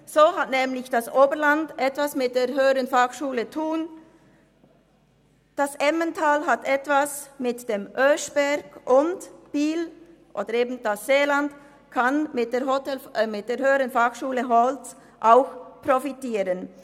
So hat nämlich das Oberland etwas davon mit der HF in Thun, das Emmental hat etwas davon mit dem Oeschberg, und Biel beziehungsweise das Seeland kann mit der HF Holz auch profitieren.